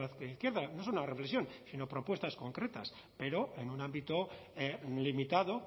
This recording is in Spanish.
la margen izquierda no es una reflexión sino propuestas concretas pero en un ámbito limitado